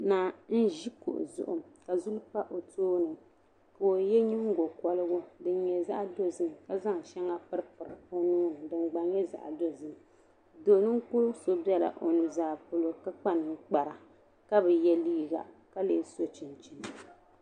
Naa n ʒi kuɣu zuɣu. ka bini pa ɔ tooni. ka ɔye nyiŋgo koligu , din nyɛ zaɣidɔzim. ka zaŋ piri ɔ nuhi ni. ka di nyɛ zaɣidɔzim. ka kpa ninkpara. ka bi ye liiga ka lee so chinchini.